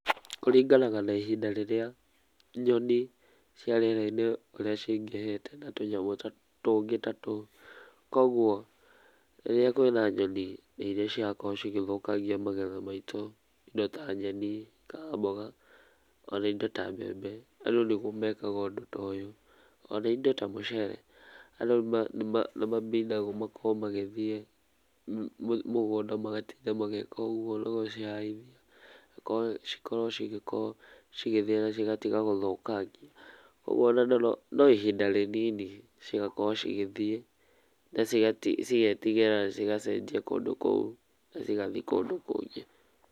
Kũringanaga na ihinda rĩrĩa nyoni cia rĩera-inĩ ũrĩa cingĩhĩte na tũnyamũ tũngĩ ta tũu. Kwoguo rĩrĩa kwĩna nyoni iria cirakorwo cigĩthũkangia magetha maitũ, indo ta nyeni kana mboga, ona indo ta mbembe, andũ nĩguo mekaga ũndũ ta ũyũ, ona indo ta mũcere, andũ nĩmambindagũo makorwo magĩthiĩ mũgunda magatinda magĩka ũguo nĩgũcihahithia, ĩkorwo cikorwo cigĩthiĩ na cigatiga gũthũkangia, ũguo ona no, no ihinda rĩnini cigakorwo cigĩthiĩ na cigetigĩra na cigacenjia kũndũ kũu na cigathiĩ kũndũ kũngĩ.